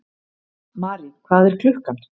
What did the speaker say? Mari, hvað er klukkan?